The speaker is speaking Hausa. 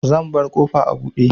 Zan bar ƙofa a buɗe.